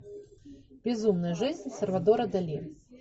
безумная жизнь сальвадора дали